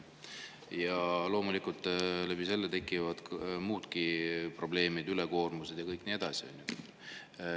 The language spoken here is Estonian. Ja loomulikult seetõttu tekivad teatud probleemid, ülekoormused ja nii edasi.